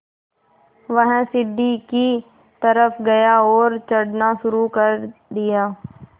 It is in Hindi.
वह सीढ़ी की तरफ़ गया और चढ़ना शुरू कर दिया